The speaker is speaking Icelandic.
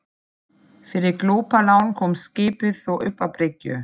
Fyrir glópalán komst skipið þó upp að bryggju.